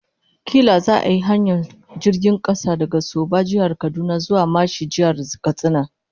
Kila za'a yi hanyar jirgin kasa daga Soba ta Jihar Kaduna zuwa Mashi ta Jihar Katsina